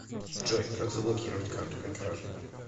джой как заблокировать карту при краже